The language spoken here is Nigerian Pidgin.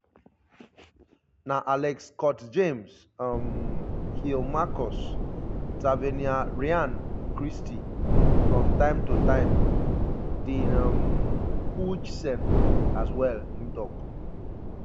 na alex scott james um hill marcus tavernier ryan christie from time to time dean um huijsen as well"im tok.